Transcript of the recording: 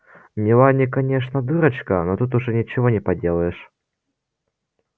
мелани конечно дурочка но тут уж ничего не поделаешь